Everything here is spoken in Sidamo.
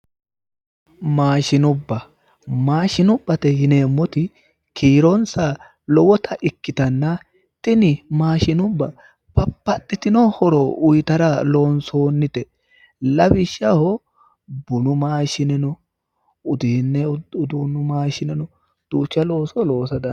maashinubba maashinubbate yineemmoti kiironsa lowota ikkitanna tini maashinubba babbaxitino horo uyiitara loonsoonnite lawishshaho bunu maashine no uduunnu maashine no duucha looso loosa dandiinanni.